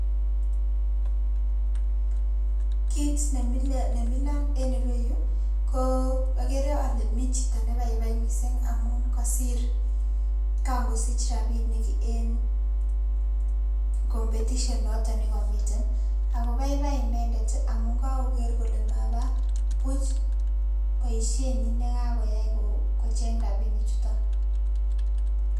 Kiit nemilon en ireyuu ko okeree olee mii chito nebaibai mising amun kosir kangosich rabinik en competition noton nekomiten akoo baibai inendet amuun kokoker inendet kolee mabaa buch boishenyin nekakoyai kocheng rabinichuton.